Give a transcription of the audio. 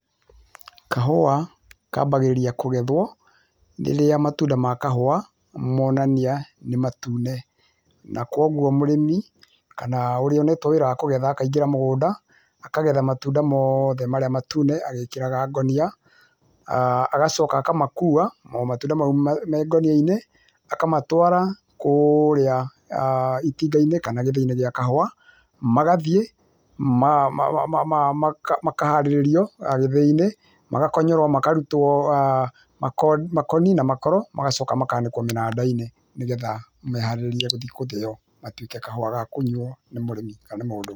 Kahũa kambagĩrĩria kũgethwo rĩrĩa matunda ma kahũa monania nĩ matune, na koguo mũrĩmi, kana ũrĩa ũnetwo wĩra wa kũgetha akaingĩra mũgũnda, akagetha matunda moothe marĩa matune, agĩkagĩra ngũnia, agacoka akamakua, o matunda mau me ngonia-inĩ, akamatwara kũũrĩa itinga-inĩ kana gĩthĩi-inĩ gĩa kahũa, magathiĩ, makaharĩrĩrio gĩthĩ-inĩ, magakonyorwo, makarutwo makoni na makoro, magacoka makanĩkwo mĩnanda-inĩ nĩ getha maharĩrĩrio gũthiĩ gũthĩo, matuĩke kahũa ga kũnyuo, nĩ mũrĩmi kana nĩ mũndũ.